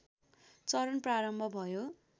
चरण प्रारम्भ भयो